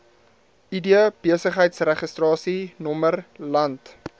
id besigheidsregistrasienommer land